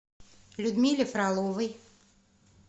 людмиле фроловой